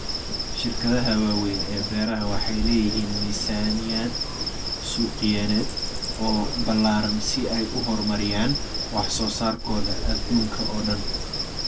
Shirkadaha waaweyn ee beeraha waxay leeyihiin miisaaniyad suuqgeyneed oo ballaaran si ay u horumariyaan wax soo saarkooda adduunka oo dhan.